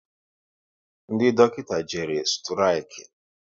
Ndị dọkịta jere sturiki